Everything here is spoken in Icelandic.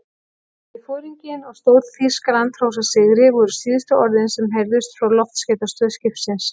Megi foringinn og Stór-Þýskaland hrósa sigri voru síðustu orðin, sem heyrðust frá loftskeytastöð skipsins.